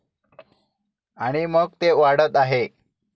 आणि मग ते वाढत आहे.